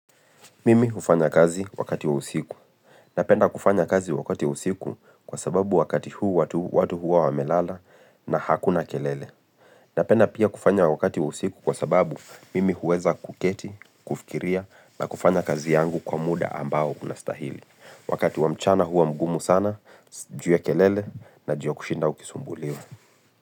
Mimi hufanya kazi wakati usiku. Napenda kufanya kazi wakati wa usiku kwa sababu wakati huu watu hua wamelala na hakuna kelele. Napenda pia kufanya wakati wa usiku kwa sababu mimi huweza kuketi, kufikiria na kufanya kazi yangu kwa muda ambao unastahili. Wakati wa mchana huwa mgumu sana, ju ya kelele na ju ya kushinda ukisumbuliwa.